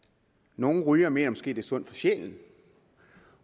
nogle rygere mener måske er sundt for sjælen